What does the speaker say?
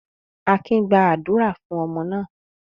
Akin gba àdúrà fún ọmọ náà.